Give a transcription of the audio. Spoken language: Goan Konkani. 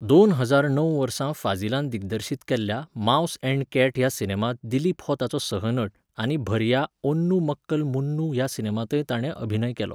दोन हजार णव वर्सा फाझीलान दिग्दर्शीत केल्ल्या मावस अँड कॅट ह्या सिनेमांत दिलीप हो ताचो सह नट, आनी भर्या ओन्नू मक्कल मून्नू ह्या सिनेमांतय ताणें अभिनय केलो.